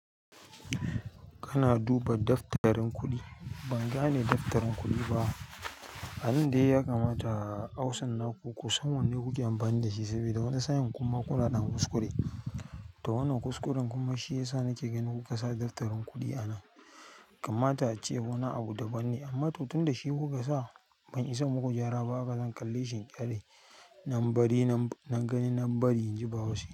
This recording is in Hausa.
Kana duba daftarin kuɗi. Ban gane daftarin kuɗi ba. Abin dai ya kamata ausan na ku, ku san wanne kuke amfani da shi sabida wani sa'in kuma kuna ɗan kuskure. Ta wanan kuskuren kuma shi ya sa nake ganin kuka sa daftarin kuɗi a nan. Kamata ace wani abu dabam ne amma to tun da shi kuka sa ban isa in muku gyara ba. Haka zan kalle shi in ƙyale nan bari nan gani nan bari in ji bahaushe.